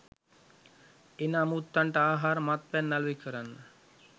එන අමුත්තන්ට ආහාර මත්පැන් අලෙවි කරන්න.